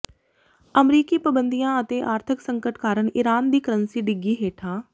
ਅਮਰੀਕੀ ਪਬੰਦੀਆਂ ਅਤੇ ਆਰਥਕ ਸੰਕਟ ਕਾਰਨ ਈਰਾਨ ਦੀ ਕਰੰਸੀ ਡਿੱਗੀ ਹੇਠਾਂ